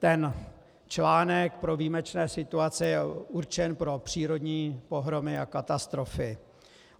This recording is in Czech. Ten článek pro výjimečné situace je určen pro přírodní pohromy a katastrofy.